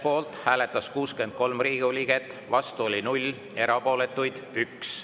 Poolt hääletas 63 Riigikogu liiget, vastu oli 0, erapooletuid 1.